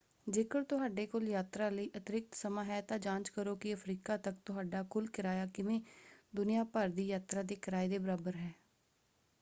ਜੇਕਰ ਤੁਹਾਡੇ ਕੋਲ ਯਾਤਰਾ ਲਈ ਅਤਿਰਿਕਤ ਸਮਾਂ ਹੈ ਤਾਂ ਜਾਂਚ ਕਰੋ ਕਿ ਅਫ਼ਰੀਕਾ ਤੱਕ ਤੁਹਾਡਾ ਕੁੱਲ ਕਿਰਾਇਆ ਕਿਵੇਂ ਦੁਨੀਆ ਭਰ ਦੀ ਯਾਤਰਾ ਦੇ ਕਿਰਾਏ ਦੇ ਬਰਾਬਰ ਹੈ।